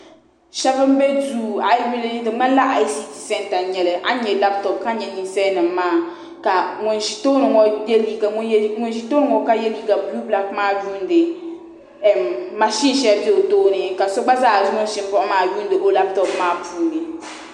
Shɛba n bɛ duu a yi yuli di mŋanila i c t santa n yɛli ani labtɔp ka yɛ ninsalinima maa ka ŋuni zi tooni ka yiɛ liiga buluu blaki maa yundi mashini shɛli bɛ o tooni ka so gba zaa ŋuni zi kuɣu maa yuundi o labtɔp maa puuni.